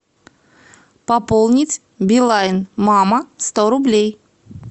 пополнить билайн мама сто рублей